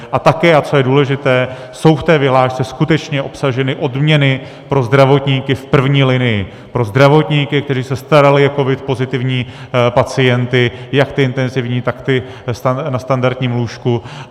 A také, a to je důležité, jsou v té vyhlášce skutečně obsaženy odměny pro zdravotníky v první linii, pro zdravotníky, kteří se starali o covid pozitivní pacienty jak ty intenzivní, tak ty na standardním lůžku.